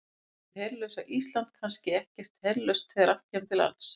Er hið herlausa Ísland kannski alls ekkert herlaust þegar allt kemur til alls?